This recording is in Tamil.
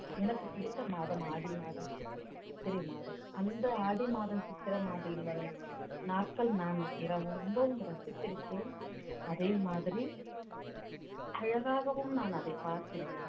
எனக்கு பிடித்த மாதம் ஆடி மாதம் சித்திரை மாதம் அந்த ஆடி மாதம் சித்திரை மாதம் வரும் நாட்கள் இரவு ரொம்ப ரசித்திருக்கிறேன் அதே மாதிரி அழகாகவும் நான் அதை பார்த்திருக்கிறேன்